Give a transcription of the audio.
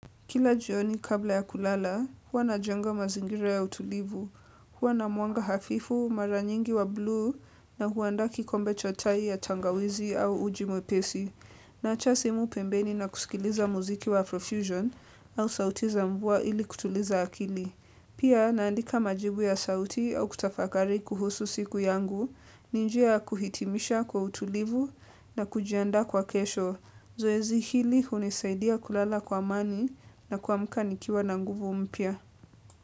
Kila jioni kabla ya kulala, huwa najenga mazingira ya utulivu, huwa na mwanga hafifu, mara nyingi wa blue na huandaa kikombe cha tai ya tangawizi au uji mwepesi, naacha simu pembeni na kusikiliza muziki wa profusion au sauti za mvua ili kutuliza akili. Pia naandika majibu ya sauti au kutafakari kuhusu siku yangu, ni njia ya kuhitimisha kwa utulivu na kujiandaa kwa kesho. Zoezi hili hunisaidia kulala kwa amani na kuamka nikiwa na nguvu mpya.